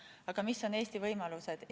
Aga mis on Eesti võimalused?